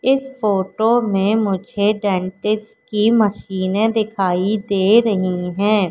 इस फोटो में मुझे डेंटिस्ट की मशीने दिखाई दे रही हैं।